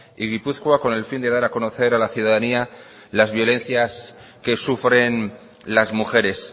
y gipuzkoa con el fin de dar a conocer a la ciudadanía las violencias que sufren las mujeres